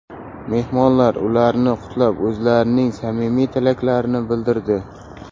Mehmonlar ularni qutlab, o‘zlarining samimiy tilaklarini bildirdi.